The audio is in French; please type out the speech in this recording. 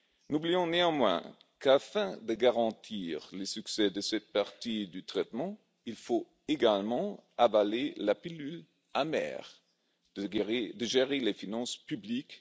N'oublions pas, néanmoins, qu'afin de garantir le succès de cette partie du traitement, il faut également avaler la pilule amère de la gestion raisonnable des finances publiques.